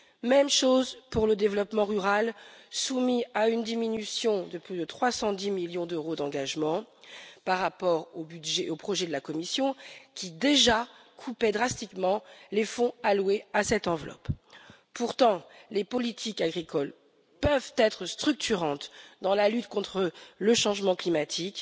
Même chose pour le développement rural, soumis à une diminution de plus de 310 millions d'euros d'engagements par rapport au projet de la Commission, qui déjà coupait drastiquement les fonds alloués à cette enveloppe. Pourtant les politiques agricoles peuvent être structurantes dans la lutte contre le changement climatique,